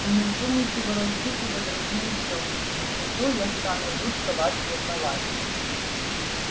и не вздумайте волочиться за другими девушками не то я стану жутко вас ревновать